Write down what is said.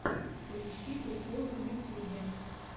поищи приколы в ютюбе